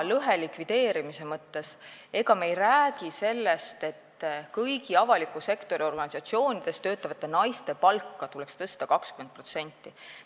Ega me ei räägi sellest, et kõigis avaliku sektori organisatsioonides töötavate naiste palka tuleks 20% tõsta.